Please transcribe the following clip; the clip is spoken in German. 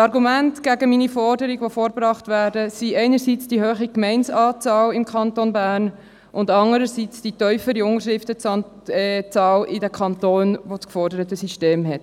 Argumente, die gegen meine Forderung vorgebracht werden, sind einerseits die hohe Anzahl Gemeinden im Kanton Bern, und andererseits die tiefere Unterschriftenzahl in jenen Kantonen, die das geforderte System haben.